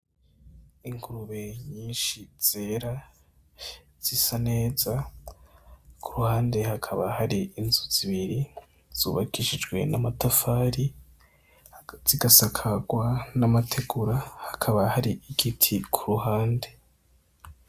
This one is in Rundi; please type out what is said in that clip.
Ingurube nyinshi zera zisa neza kuruhande hakaba hari inzu zibiri zubakishijwe n' amatafari zigasakagwa n' amategura hakaba hari igiti kuruhande.